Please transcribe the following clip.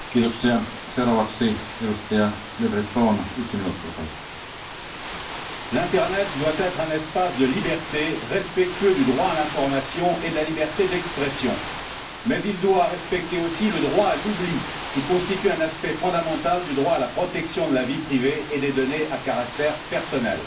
Monsieur le Président, l'internet doit être un espace de liberté, respectueux du droit à l'information et de la liberté d'expression, mais il doit aussi respecter le droit à l'oubli, qui constitue un aspect fondamental du droit à la protection de la vie privée et des données à caractère personnel.